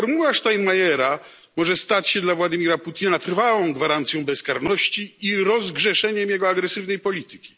Formuła Steinmeiera może stać się dla Władimira Putina trwałą gwarancją bezkarności i rozgrzeszeniem jego agresywnej polityki.